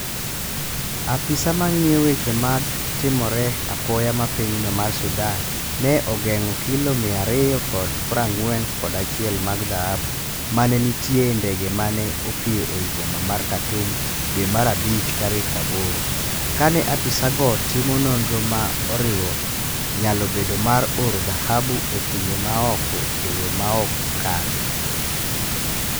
Apise mang'iyo weche matimore apoya ma pinyno mar Sudan ne ogeng'o kilo mia ariyo kod pra ng'wen kod achiel mag dhahabu mane nitie e ndege mane opiyo ei boma mar Khartoum dwe mar abich tarik aboro, kane apisago timo nonro ma oriwo nyalo bedo mar oro dhahabu e pinje ma oko e yo maok kare.